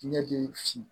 Ɲɛji fin